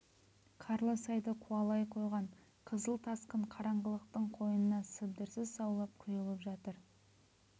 қарлы сайды қуалай қойған қызыл тасқын қараңғылықтың қойнына сыбдырсыз саулап құйылып жатыр